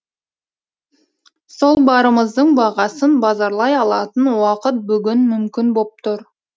сол барымыздың бағасын базарлай алатын уақыт бүгін мүмкін боп тұр